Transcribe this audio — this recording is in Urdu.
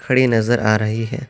کھڑی نظر آ رہی ہے۔